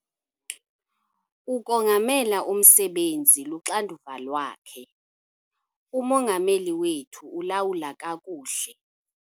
Ukongamela umsebenzi luxanduva lwakhe. umongameli wethu ulawula kakuhle